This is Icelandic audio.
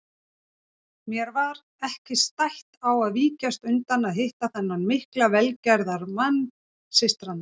Mér var ekki stætt á að víkjast undan að hitta þennan mikla velgerðamann systranna.